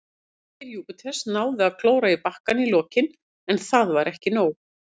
Vængir Júpiters náðu að klóra í bakkann í lokin, en það var ekki nóg.